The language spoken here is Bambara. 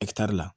la